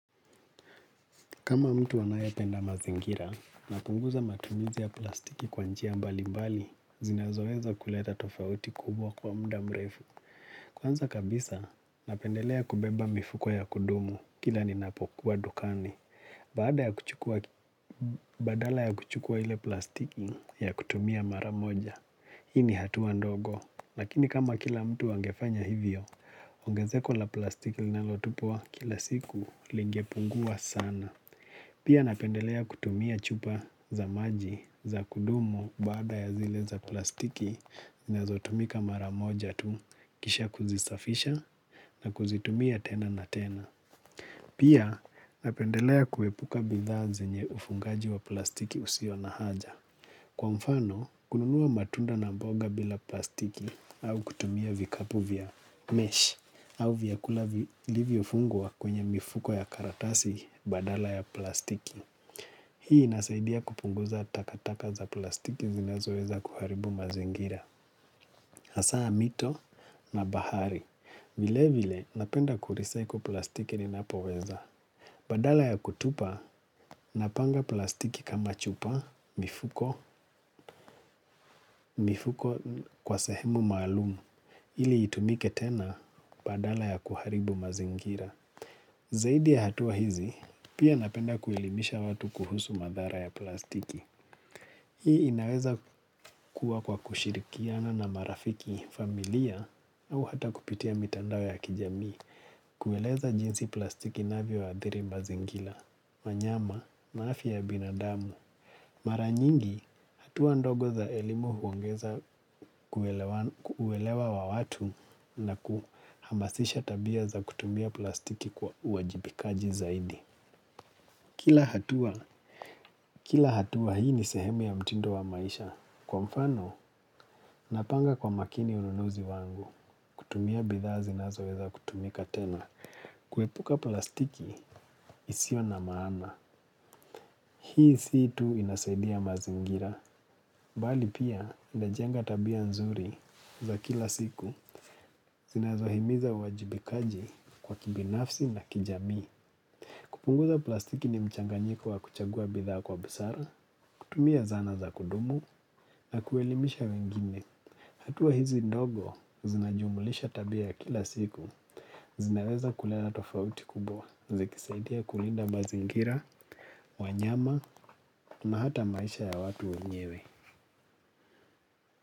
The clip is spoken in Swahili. Kama mtu anayependa mazingira napunguza matumizi ya plastiki kwa njia mbali mbali, zinazoweza kuleta tofauti kubwa kwa muda mrefu. Kwanza kabisa, napendelea kubeba mifuko ya kudumu kila ninapokuwa dukani. Baada ya kuchukua badala ya kuchukua ile plastiki ya kutumia mara moja, hii ni hatua ndogo. Lakini kama kila mtu angefanya hivyo, ongezeko la plastiki linalotupwa kila siku lingepungua sana. Pia napendelea kutumia chupa za maji za kudumu baada ya zile za plastiki zinazotumika mara moja tu kisha kuzisafisha na kuzitumia tena na tena. Pia napendelea kuepuka bidhaa zenye ufungaji wa plastiki usio na haja. Kwa mfano, kununua matunda na mboga bila plastiki au kutumia vikapu vya mesh au vyakula vilivyofungua kwenye mifuko ya karatasi badala ya plastiki. Hii inasaidia kupunguza takataka za plastiki zinazoweza kuharibu mazingira hasaa mito na bahari. Vile vile napenda kurecycle plastiki ninapoweza. Badala ya kutupa napanga plastiki kama chupa mifuko kwa sehemu maalumu. Ili itumike tena badala ya kuharibu mazingira. Zaidi ya hatua hizi pia napenda kuelimisha watu kuhusu madhara ya plastiki. Hii inaweza kuwa kwa kushirikiana na marafiki familia au hata kupitia mitandao ya kijamii, kueleza jinsi plastiki inavyoadhiri mazingila, wanyama, na afya ya binadamu. Mara nyingi, hatua ndogo za elimu huongeza kuelewan kuelewa wa watu na kuhamasisha tabia za kutumia plastiki kwa uwajibikaji zaidi. Kila hatua. Kila hatua hii ni sehemu ya mtindo wa maisha. Kwa mfano, napanga kwa makini ununuzi wangu. Kutumia bidhaa zinazoweza kutumika tena. Kuepuka plastiki isio na maana. Hii si tu inasaidia mazingira. Bali pia, inajenga tabia nzuri za kila siku. Zinazohimiza uwajibikaji kwa kibinafsi na kijamii. Kupunguza plastiki ni mchanganyiko wa kuchagua bidhaa kwa busara, kutumia zana za kudumu, na kuelimisha wengine. Hatua hizi ndogo, zinajumulisha tabia ya kila siku. Zinaweza kuleta tofauti kubwa, zikisaidia kulinda mazingira, wanyama, na hata maisha ya watu wenyewe.